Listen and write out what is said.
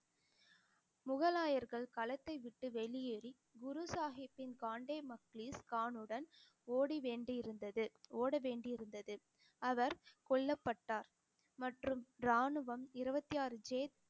முகலாயர்கள் களத்தை விட்டு வெளியேறி, குரு சாஹிபின் காண்டே முக்லீஸ் கானுடன் ஓடி வேண்டி இருந்தது ஓட வேண்டி இருந்தது அவர் கொல்லப்பட்டார் மற்றும் ராணுவம் இருபத்தி ஆறு